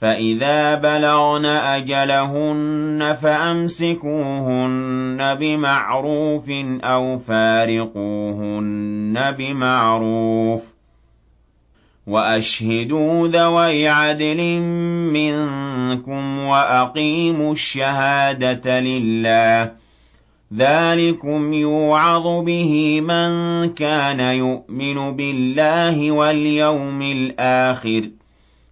فَإِذَا بَلَغْنَ أَجَلَهُنَّ فَأَمْسِكُوهُنَّ بِمَعْرُوفٍ أَوْ فَارِقُوهُنَّ بِمَعْرُوفٍ وَأَشْهِدُوا ذَوَيْ عَدْلٍ مِّنكُمْ وَأَقِيمُوا الشَّهَادَةَ لِلَّهِ ۚ ذَٰلِكُمْ يُوعَظُ بِهِ مَن كَانَ يُؤْمِنُ بِاللَّهِ وَالْيَوْمِ الْآخِرِ ۚ